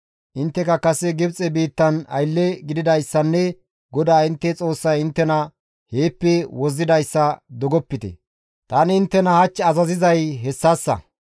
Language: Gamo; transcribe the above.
Intteka kase Gibxe biittan aylle gididayssanne GODAA intte Xoossay inttena heeppe wozzidayssa dogopte; tani inttena hach azazizay hessassa.